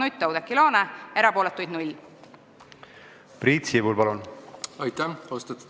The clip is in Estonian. Aitäh, austatud eesistuja!